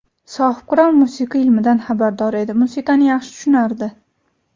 Sohibqiron musiqa ilmidan xabardor edi, musiqani yaxshi tushunardi.